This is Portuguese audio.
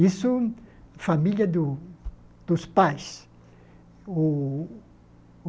Isso, família do dos pais. O o